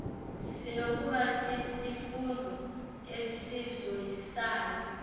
sinokuba sisifundo esizoyisayo